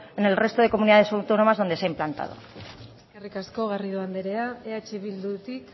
en el resto de comunidades autónomas donde se ha implantado eskerrik asko garrido anderea eh bildutik